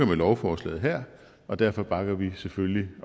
med lovforslaget her derfor bakker vi selvfølgelig